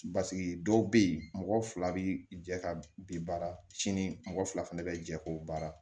dɔw bɛ yen mɔgɔ fila bɛ jɛ ka bin baara sini mɔgɔ fila fana bɛ jɛ k'o baara